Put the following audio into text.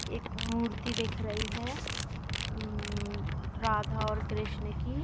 एक मूर्ति दिख रही है। अम्म्म राधा और कृष्न की |